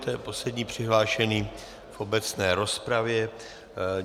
To je poslední přihlášený v obecné rozpravě.